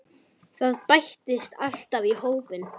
Það bætist alltaf í hópinn.